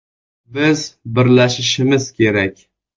Biz birlashishimiz kerak.